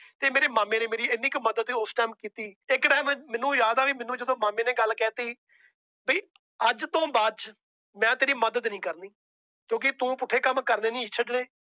ਤੇ ਮੇਰੇ ਮਾਮੇ ਨੇ ਮੇਰੀ ਏਨੀ ਕ ਮੱਦਦ ਉਸ Time ਕੀਤੀ ਇਕ Time ਮੈਨੂੰ ਯਾਦ ਆ ਮੈਨੂੰ ਜਦੋ ਮਾਮੇ ਨੇ ਗੱਲ ਕਹਿਤੀ ਭਾਈ ਅਜੇ ਤੋਂ ਬਾਦ ਮੈਂ ਤੇਰੀ ਮਦਦ ਨੀ ਕਰਨੀ ਕਿਉਂਕਿ ਤੂੰ ਪੁੱਠੇ ਕੰਮ ਕਰਨੇ ਨਹੀਂ ਛੱਡਣੇ।